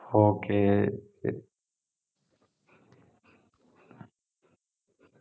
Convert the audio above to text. okay ശരി